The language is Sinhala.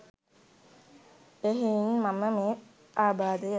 එහෙයින් මම මේ ආබාධය